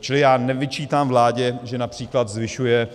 Čili já nevyčítám vládě, že například zvyšuje